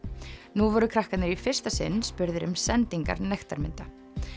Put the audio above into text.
nú voru krakkarnir í fyrsta sinn spurðir um sendingar nektarmynda